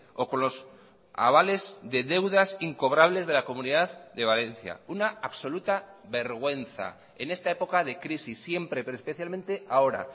o con los avales de deudas incobrables de la comunidad de valencia una absoluta vergüenza en esta época de crisis siempre pero especialmente ahora